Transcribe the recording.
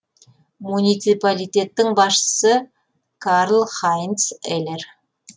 муниципалитеттің басшысы карлхайнц элер